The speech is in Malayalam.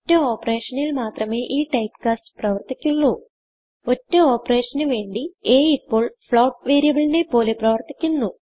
ഒറ്റ operationൽ മാത്രമേ ഈ typecastപ്രവർത്തിക്കുള്ളൂ ഒറ്റ operationവേണ്ടി a ഇപ്പോൾ floatവേരിയബിളിനെ പോലെ പ്രവർത്തിക്കുന്നു